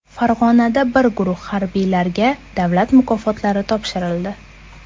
Farg‘onada bir guruh harbiylarga davlat mukofotlari topshirildi .